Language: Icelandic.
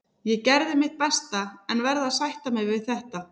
Ég gerði mitt besta en verð að sætta mig við þetta.